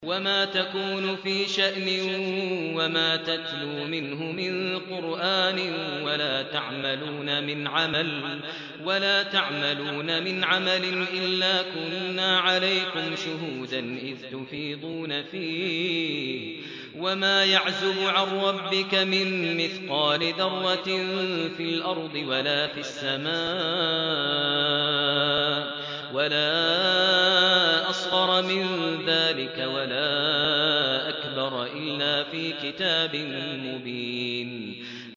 وَمَا تَكُونُ فِي شَأْنٍ وَمَا تَتْلُو مِنْهُ مِن قُرْآنٍ وَلَا تَعْمَلُونَ مِنْ عَمَلٍ إِلَّا كُنَّا عَلَيْكُمْ شُهُودًا إِذْ تُفِيضُونَ فِيهِ ۚ وَمَا يَعْزُبُ عَن رَّبِّكَ مِن مِّثْقَالِ ذَرَّةٍ فِي الْأَرْضِ وَلَا فِي السَّمَاءِ وَلَا أَصْغَرَ مِن ذَٰلِكَ وَلَا أَكْبَرَ إِلَّا فِي كِتَابٍ مُّبِينٍ